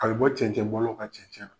A bi bɔ cɛncɛn bɔ law ka cɛncɛn na.